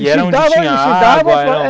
E era onde tinha água? era